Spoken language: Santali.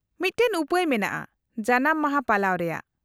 -ᱢᱤᱫᱴᱟᱝ ᱩᱯᱟᱹᱭ ᱢᱮᱱᱟᱜᱼᱟ ᱡᱟᱱᱟᱢ ᱢᱟᱦᱟ ᱯᱟᱞᱟᱣ ᱨᱮᱭᱟᱜ ᱾